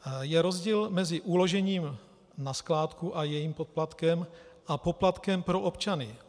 Je rozdíl mezi uložením na skládku a jejím poplatkem a poplatkem pro občany.